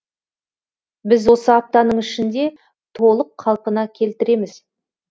біз осы аптаның ішінде толық қалпына келтіреміз